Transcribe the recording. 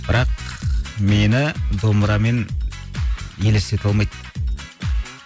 бірақ мені домбырамен елестете алмайды